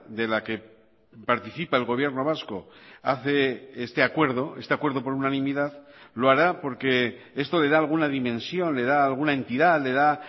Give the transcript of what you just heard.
de la que participa el gobierno vasco hace este acuerdo este acuerdo por unanimidad lo hará porque esto le da alguna dimensión le da alguna entidad le da